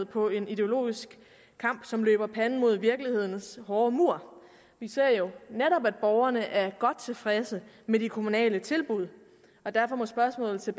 på en ideologisk kamp som løber panden mod virkelighedens hårde mur vi ser jo netop at borgerne er godt tilfredse med de kommunale tilbud derfor må spørgsmålet til